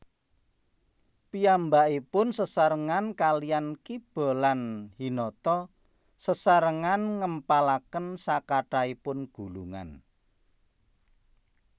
Piyambakipun sesarengan kaliyan Kiba lan Hinata Sesarengan ngempalaken sakathahipun gulungan